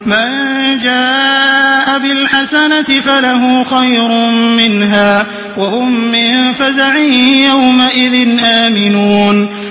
مَن جَاءَ بِالْحَسَنَةِ فَلَهُ خَيْرٌ مِّنْهَا وَهُم مِّن فَزَعٍ يَوْمَئِذٍ آمِنُونَ